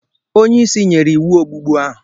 Onye isi nyere iwu ogbugbu ahụ!